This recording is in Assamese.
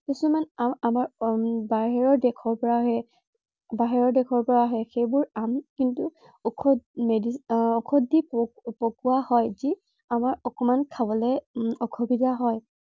কিছুমান আম আমাৰ আম বাহিৰৰ দেশৰ পৰা আহে। বাহিৰৰ দেশৰ পৰা আহে, সেইবোৰ আম কিন্তু ঔষধ দি পকোৱা পকোৱা যি আমাৰ অকনমান খাবলৈ অসুবিধা হয়।